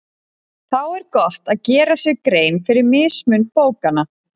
Þá er gott að gera sér grein fyrir mismun bókanna.